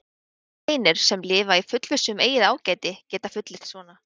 Þeir einir, sem lifa í fullvissu um eigið ágæti, geta fullyrt svona.